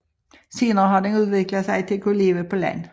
Senere har den udviklet sig til at kunne leve på land